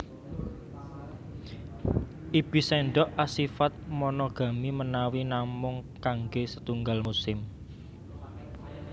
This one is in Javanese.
Ibis sendok asifat monogami menawi namung kangge setunggal musim